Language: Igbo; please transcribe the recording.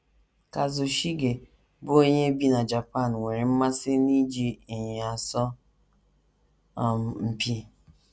Kazushige, bụ́ onye bi na Japan, nwere mmasị n’iji ịnyịnya asọ um mpi.